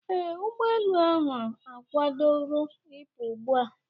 Ee, ụgbọ elu ahụ akwadoro ịpụ ugbu a